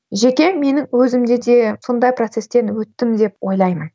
жеке менің өзімде де сондай процестен өттім деп ойлаймын